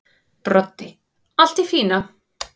Broddi: Allt í fína.